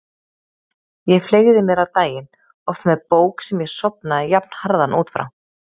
Ég fleygði mér á daginn, oft með bók sem ég sofnaði jafnharðan út frá.